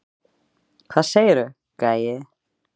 Hvað segirðu, gæi?